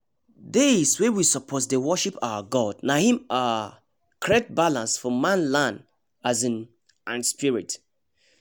days wey we suppose dey worship our god na hin um create balance for manland um and spirit